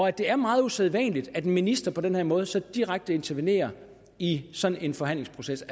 at det er meget usædvanligt at en minister på den her måde så direkte intervenerer i sådan en forhandlingsproces